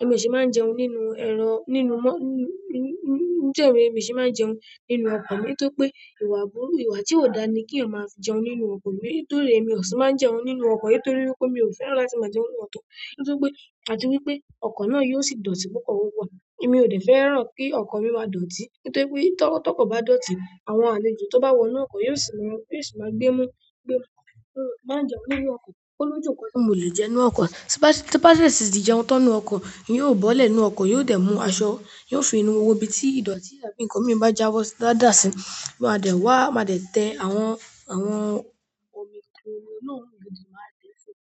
èmi ò sì máa ń jẹun nínú ẹran, nínú mọ́, ní, ní, ní, ní, ní, jẹ́ ìwé èmi sì máa ń jẹun nínú ọkọ̀ mi nítorí pé ìwà aburú, ìwà tí ò dáa ní kí ọmọ á fi jẹun nínú ọkọ̀ mi nítorí èmi ò sì máa ń jẹun nínú ọkọ̀ nítorí wípé mi ò fẹ́ràn láti máa jẹun nínú ọkọ̀ nítorí pé, àti wípé ọkọ̀ náà yóò sì dọ̀tí púpọ̀ wọ́pọ̀. Èmi ò dẹ̀ fẹ́ràn kí ọkọ̀ mi máa dọ̀tí nítorí pé tó, tó kọ̀ bá dọ̀tí, àwọn àlejò tó bá wọ inú ọkọ̀ yóò sì máa, yóò sì máa gbé mú, gbé mú. So, tí n bá ń jẹun nínú ọkọ̀, ó lójú nǹkan tí mo lè jẹ nínú ọkọ̀. Tí bá sì, tí bá sì di jẹun tán nínú ọkọ̀, n óò bọ́lẹ̀ nínú ọkọ̀, yóò dẹ̀ mú aṣọ, yóò fi inú wo ibi tí ìdọ̀tí àbí ǹkan mi bá jáwọ́ dá, dàsì, máa dẹ̀ wá, máa dẹ̀ tẹ àwọn, àwọn omi inú náà lódi máa tẹ̀ ẹ́ sùn.